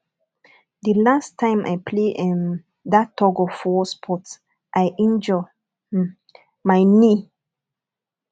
the last time i play um that tugofwar sport i injure um my knee